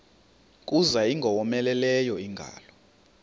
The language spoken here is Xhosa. kuza ingowomeleleyo ingalo